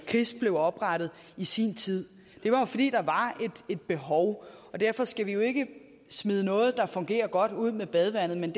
kris blev oprettet i sin tid det var jo fordi der var et behov og derfor skal vi jo ikke smide noget der fungerer godt ud med badevandet men